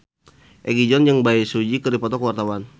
Egi John jeung Bae Su Ji keur dipoto ku wartawan